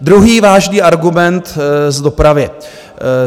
Druhý vážný argument v dopravě.